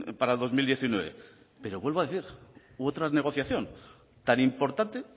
para dos mil diecinueve pero vuelvo a decir otra negociación tan importante